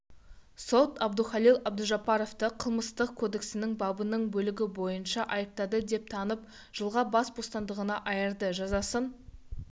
сот әбдухалил әбдужаппаровты қылмыстық кодексінің бабының бөлігі бойынша айыпты деп танып жылға бас бостандығынан айырды жазасын